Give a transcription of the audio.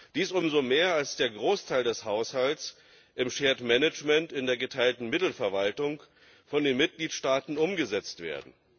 Dies umso mehr als der Großteil des Haushalts im in der geteilten Mittelverwaltung, von den Mitgliedstaaten umgesetzt wird.